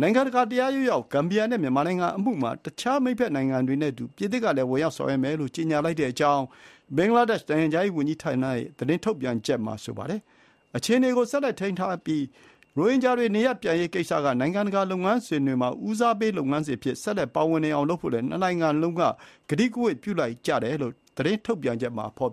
နိုင်ငံတကာတရားရုံးရောက် ဂမ်ဘီယာနဲ့ မြန်မာ နိုင်ငံအမှုမှာ အခြားမိတ်ဖက်နိုင်ငံတွေနဲ့အတူ ပြင်သစ်ကလည်း ဝင်ရောက် ဆောင်ရွက်မယ်လို့ ကြေညာလိုက်ကြောင်း ဘင်္ဂလားဒေ့ရှ် နိုင်ငံခြားရေး ဝန်ကြီးဌာနရဲ့ သတင်းထုတ်ပြန်ချက်မှာ ဆိုပါတယ်။ အခြေအနေကိုဆက်လက်ထိန်းထားပြီး ရိုဟင်ဂျာတွေနေရပ်ပြန်ရေးကိစ္စက နိုင်ငံတကာလုပ်ငန်းစဥ်တွေမှာ ဦးစားပေးလုပ်ငန်းစဥ်အဖြစ် ဆက်လက် ပါဝင်နေအောင်လုပ်ဖို့လည်း နှစ်နိုင်ငံလုံးက ကတိကဝတ်ပြုလိုက်ကြတယ်လို့ ကြေညာချက်မှာ ဖော်